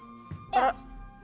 já